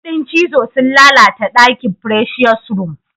Kudin cizo sun lalata daki presious room.